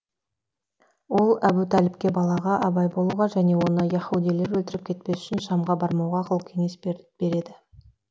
ол әбу тәліпке балаға абай болуға және оны яһудилер өлтіріп кетпес үшін шамға бармауға ақыл кеңес береді